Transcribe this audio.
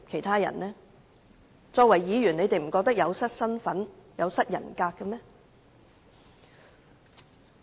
他們身為議員不覺得這樣說有失身份、有失人格嗎？